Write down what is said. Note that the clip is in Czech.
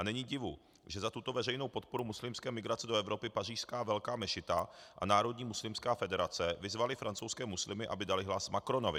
A není divu, že za tuto veřejnou podporu muslimské migrace do Evropy pařížská Velká mešita a Národní muslimská federace vyzvaly francouzské muslimy, aby dali hlas Macronovi.